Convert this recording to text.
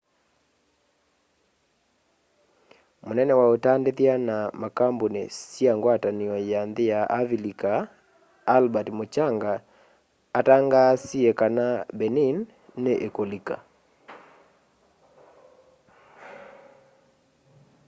mũnene wa utandithya na makambuni sya ngwatanĩo ya nthĩ sya avilika albert muchanga atangaasie kana benin nĩ ĩkulika